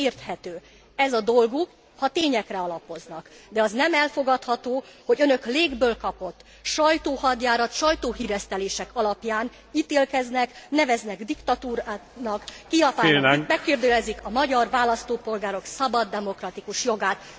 Ez érthető, ez a dolguk, ha tényekre alapoznak, de az nem elfogadható, hogy önök légből kapott sajtóhadjárat, sajtóhíresztelések alapján ítélkeznek, neveznek diktatúrának, megkérdőjelezik a magyar választópolgárok szabad demokratikus jogát.